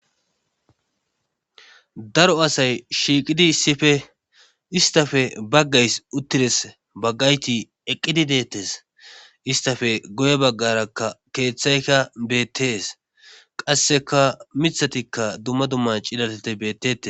daro asay shiiqidi issife istafe baggays uttires baggayti eqqidi deettes istafe guye baggarakka keeththayka beettees qasseka mithatikka dumma dumman cilateti bettetes